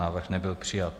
Návrh nebyl přijat.